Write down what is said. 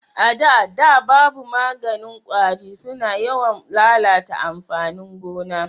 A da da babu maganin kwari su na yawan lalata amfanin gona